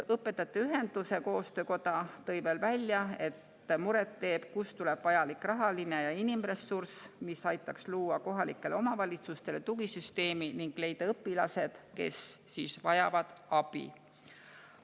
Õpetajate Ühenduste Koostöökoda tõi veel välja, et muret teeb see, kust tuleb vajalik rahaline ja inimressurss, mis aitaks luua kohalikele omavalitsustele tugisüsteemi ning leida õpilased, kes vajavad abi.